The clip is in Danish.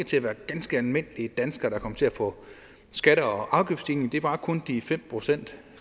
til at være ganske almindelige danskere der kom til at få skatte og afgiftsstigninger det var kun de fem procent